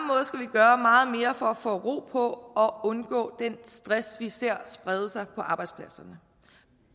gøre meget mere for at få ro på og undgå den stress vi ser sprede sig på arbejdspladserne